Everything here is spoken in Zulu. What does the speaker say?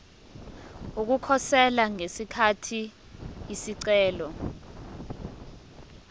ukukhosela ngesikhathi isicelo